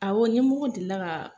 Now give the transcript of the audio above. Awɔ ɲɛmogo delila ka